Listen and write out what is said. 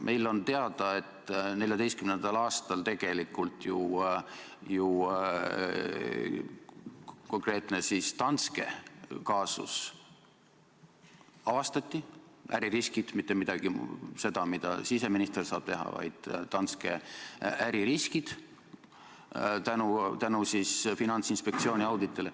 Meile on teada, et 2014. aastal tegelikult ju konkreetne Danske kaasus avastati – äririskid, mitte midagi sellist, mida siseminister saab teha, vaid Danske äririskid – tänu Finantsinspektsiooni auditile.